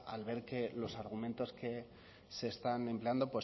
al ver que los argumentos que se están empleando